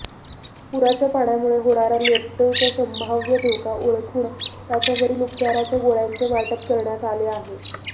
पुराच्या पाण्यामुळे होणारा लेप्टोचा संभाव्य धोका ओळखून त्याच्यावरील उपचाराच्या गोळ्यांचे वाटप करण्यात आले आहे